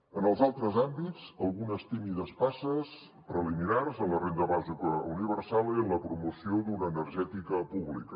en els altres àmbits algunes tímides passes preliminars en la renda bàsica universal i en la promoció d’una energètica pública